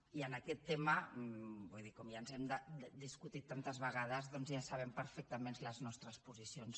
i en aquest tema vull dir com ja ens hem discutit tantes vegades doncs ja sabem perfectament les nostres posicions